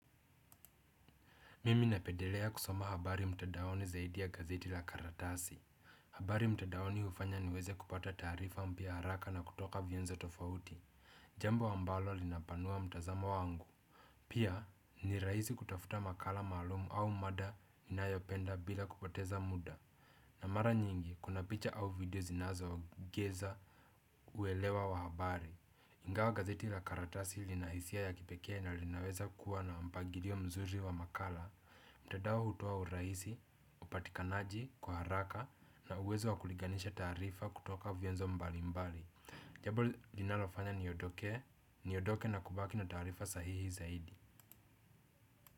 Mimi napendelea kusoma habari mtandaoni zaidi ya gazeti la karatasi. Habari mtandaoni hufanya niweze kupata taarifa mpya haraka na kutoka vyenzo tofauti, jambo ambalo linapanua mtazamo wangu. Pia ni rahisi kutafuta makala maalumu au mada ninayopenda bila kupoteza muda. Na mara nyingi kuna picha au video zinazoongeza uelewa wa habari. Ingawa gazeti la karatasi lina hisia ya kipekee na linaweza kuwa na mpangilio mzuri wa makala, mtandao hutoa urahisi, upatikanaji kwa haraka na uwezo wa kulinganisha taarifa kutoka vyenzo mbalimbali. Jambo linalofanya niondoke na kubaki na taarifa sahihi zaidi.